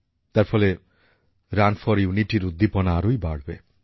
তার ফলে run for ইউনিটির উদ্দীপনা আরোই বাড়বে